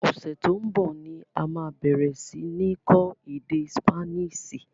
Ọsẹ to ń bọ̀ ni a máa bẹ̀rẹ̀ si ni kọ́ èdè Sípáníìṣì